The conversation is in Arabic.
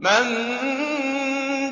مَن